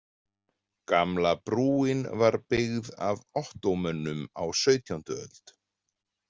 Gamla brúin var byggð af Ottómönum á sautjándu öld.